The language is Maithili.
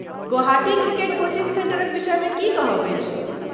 गुवाहाटी क्रिकेट कोचिंग सेंटरक विषयमे की कहब अछि?